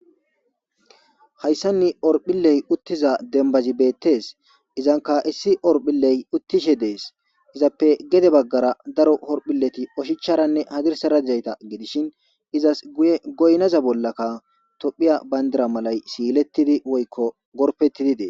Hayssanni orphilley uttiza dembazi beettes izanka issi orphilley uttishe dees izappe gede baggara daro horphilleti oshicharanne hadirsarajayta gidishin izas guye goynaza bollakka tophiya bayndira malay siilettidi woykko gorpettidide.